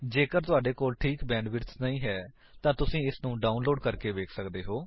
ਜੇਕਰ ਤੁਹਾਡੇ ਕੋਲ ਠੀਕ ਬੈਂਡਵਿਡਥ ਨਹੀਂ ਹੈ ਤਾਂ ਤੁਸੀ ਇਸਨ੍ਹੂੰ ਡਾਉਨਲੋਡ ਕਰਕੇ ਵੇਖ ਸੱਕਦੇ ਹੋ